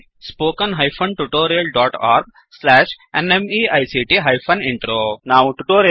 httpspoken tutorialorgNMEICT Intro ನಾವು ಟ್ಯುಟೋರಿಯಲ್ನಿ ಕೊನೆಯನ್ನು ತಲುಪಿದ್ದೇವೆ